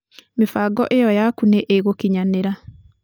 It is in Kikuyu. mĩbango iyo yaku nĩ ĩgukinyanĩra.